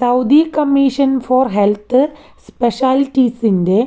Saudi commission for health സ്പെഷ്യാലിറ്റീസിന്റെ